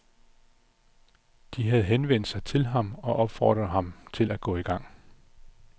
De havde henvendt sig til ham og opfordret ham til at gå i gang.